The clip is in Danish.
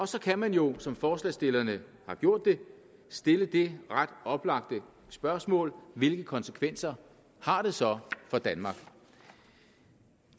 så kan man jo som forslagsstillerne har gjort det stille det ret oplagte spørgsmål hvilke konsekvenser har det så for danmark